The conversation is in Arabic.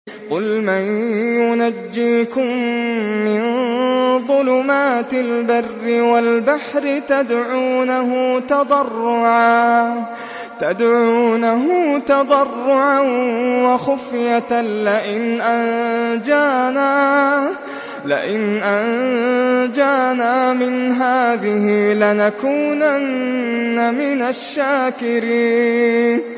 قُلْ مَن يُنَجِّيكُم مِّن ظُلُمَاتِ الْبَرِّ وَالْبَحْرِ تَدْعُونَهُ تَضَرُّعًا وَخُفْيَةً لَّئِنْ أَنجَانَا مِنْ هَٰذِهِ لَنَكُونَنَّ مِنَ الشَّاكِرِينَ